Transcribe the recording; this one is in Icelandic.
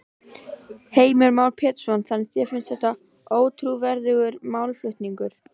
Heimir Már Pétursson: Þannig að þér finnst þetta ótrúverðugur málflutningur?